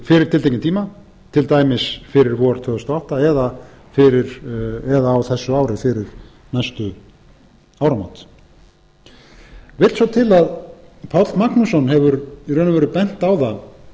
fyrir tiltekinn tíma til dæmis fyrir vor tvö þúsund og átta eða á þessu ári fyrir næstu áramót vill svo til að páll magnússon hefur í raun og veru bent á það